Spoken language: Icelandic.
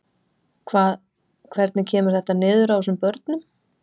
Hvað, hvernig kemur þetta niður á þessum börnum?